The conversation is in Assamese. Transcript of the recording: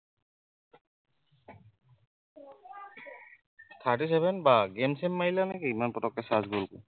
Thirty seven বাঢ় game চেইম মাৰিলা নে কি ইমান পতককে charge গলগৈ